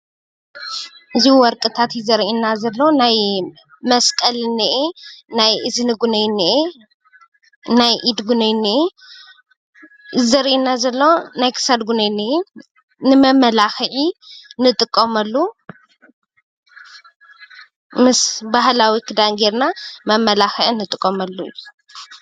እዚ ወርቅታት እዩ ዘሪአና ዘሎ። ናይ ናይ መስቀል እኒአ፣ ናይ እዝኒ ውናይ እኒአ ፣ ናይ ኢድ እውናይ እኒአ፣ እዚ ዘሪአና ዘሎ ናይ ክሳድ ውናይ እኒአ። ንመመላኽዒ እንጥቀመሉ ምስ ባህላዊ ክዳን ገይርና መመላኽዒ እንጥቀመሉ እዩ።